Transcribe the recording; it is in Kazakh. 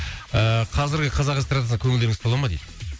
ыыы қазіргі қазақ эстрадасына көңілдеріңіз тола ма дейді